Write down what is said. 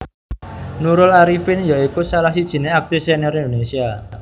Nurul Arifin ya iku salah sijiné aktris senior Indonésia